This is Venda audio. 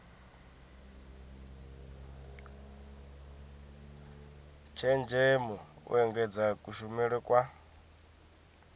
tshenzhemo u engedza kushumele kwa